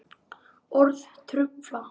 Orð trufla.